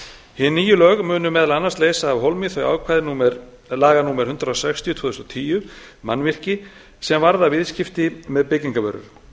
hin nýju lög munu meðal annars leysa af hólmi þau ákvæði laga númer eitt hundrað og sextíu tvö þúsund og tíu mannvirki sem varða viðskipti með byggingarvörur